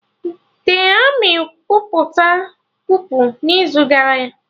The Armị kwupụta kupu n'izu gara y